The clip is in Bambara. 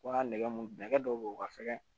Wa nɛgɛ mun nɛgɛ dɔw be yen o ka fɛ